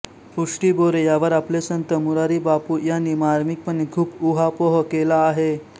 उष्टी बोरे यावर आपले संत मुरारी बापू यांनी मार्मिकपणे खूप ऊहापोह केला आहे